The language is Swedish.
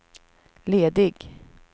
ledig